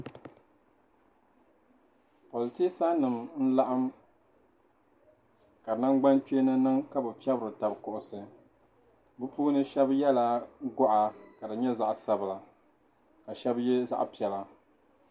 Politeesa nima n laɣim ka nangbankpeeni niŋ ka bɛ fɛritaba kuɣisi bɛ puuni shɛba yɛla gɔɣa ka di nyɛ zaɣ'sabila ka shɛba ye zaɣ'piɛla.